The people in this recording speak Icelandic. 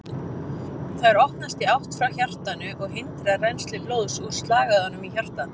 Þær opnast í átt frá hjartanu og hindra rennsli blóðs úr slagæðunum inn í hjartað.